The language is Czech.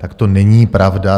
Tak to není pravda.